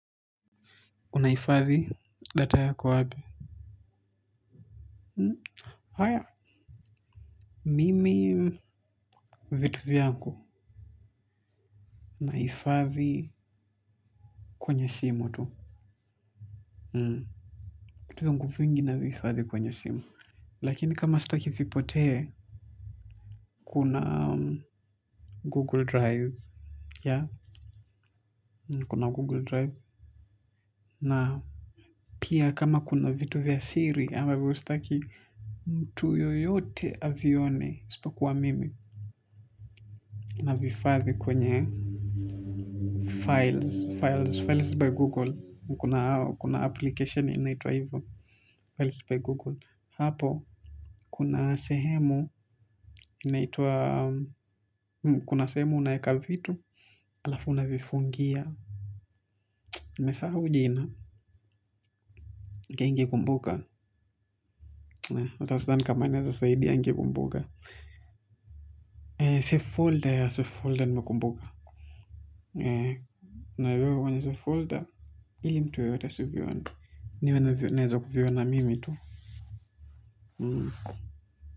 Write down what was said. Unahifadhi data yako wapi? Haya. Mimi vitu vyako. Nahifadhi kwenye simu tu. Vitu vyangu vingi navihifadhi kwenye simu. Lakini kama sitaki vipotee, kuna Google Drive. Yeah, kuna Google Drive. Na pia kama kuna vitu vya siri ambavyo sitaki mtu yeyote avione, isipokuwa mimi. Navihifadhi kwenye files, files, files by Google. Kuna application inaitwa hivo, Files by Google. Hapo kuna sehemu inaitwa, kuna sehemu unaweka vitu, halafu unavifungia. Nimesahau jina. Ningependa kukumbuka, natamani kama ningeweza kukumbuka. Safe folder, safe folder nimekumbuka. Naviweka kwenye safe folder ili mtu yeyote asivione, niwe ninaweza kuviona mimi tu.